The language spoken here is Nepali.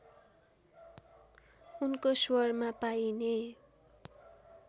उनको स्वरमा पाइने